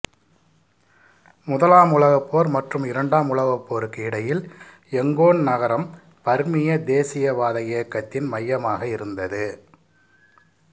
முதலாம் உலகப் போர் மற்றும் இரண்டாம் உலகப் போருக்கு இடையில் யங்கோன் நகரம் பர்மிய தேசியவாத இயக்கத்தின் மையமாக இருந்தது